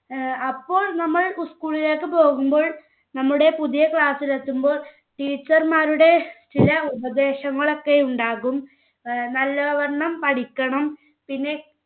അപ്പോൾ നമ്മൾ school ലേക്ക് പോകുമ്പോൾ നമ്മുടെ പുതിയ class എത്തുമ്പോൾ teacher മാരുടെ ചില ഉപദേശങ്ങളൊക്കെ ഉണ്ടാകും. നല്ലവണ്ണം പഠിക്കണം പിന്നെ